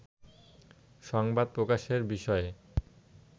সংবাদ প্রকাশের বিষয়ে